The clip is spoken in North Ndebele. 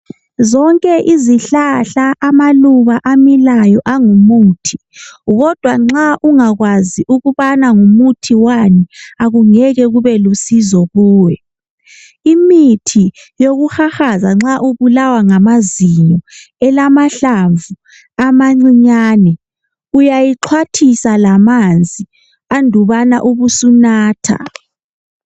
Zonke izihlahla, amaluba amilayo angumuthi kodwa nxa ungakwazi ukubana ngumuthi wani akungeke kube lusizo kuwe. Imithi yokuhahaza nxa ubulawa ngamazinyo elamahlamvu amancinyane uyayixhwathisa lamanzi andubana ubusunatha.